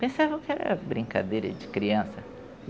Pensava que era brincadeira de criança.